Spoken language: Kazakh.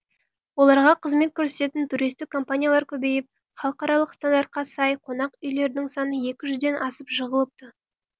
оларға қызмет көрсететін туристік компаниялар көбейіп халықаралық стандартқа сай қонақүйлердің саны екі жүзден асып жығылыпты